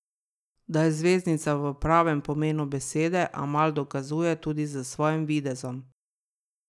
Da je zvezdnica v pravem pomenu besede, Amal dokazuje tudi s svojim videzom.